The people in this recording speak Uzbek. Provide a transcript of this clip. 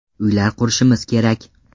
Uylar qurishimiz kerak.